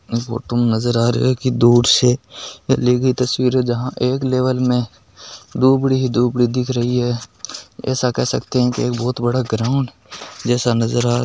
इस फोटो में नजर आ रहियो है की दूर से ली गई की तस्वीर है जहा एक लेवल में दुबड़ी ही दुबड़ी दिख रही है ऐसा कह सकते है की एक बहुत बड़ा ग्राऊंड जैसा नजर आ रहा है।